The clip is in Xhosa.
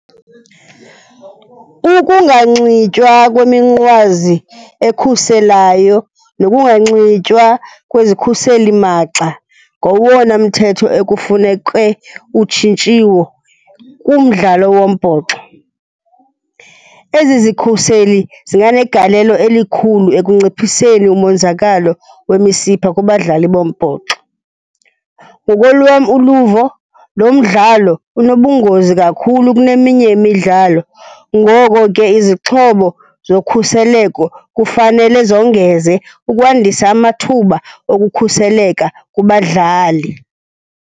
Ukunganxitywa kweminqwazi ekhuselayo nokunganxitywa kwezikhuselimagxa ngowona mthetho ekufuneke utshintshiwo kumdlalo wombhoxo. Ezi zikhuseli zinganegalelo elikhulu ekunciphiseni umonzakalo wemisipha kubadlali bombhoxo. Ngokolwam uluvo, lo mdlalo unobungozi kakhulu kuneminye imidlalo, ngoko ke izixhobo zokhuseleko kufanele zongeze ukwandisa amathuba okukhuseleka kubadlali.